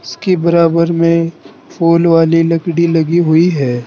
उसके बराबर में फूल वाली लकड़ी लगी हुई है।